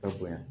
Ka bonya